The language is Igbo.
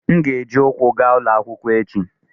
M ga-eji ụkwụ gaa ụlọ akwụkwọ echi.